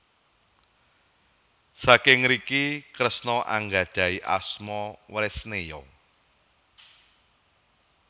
Saking ngriki Kresna anggadhahi asma Wresneya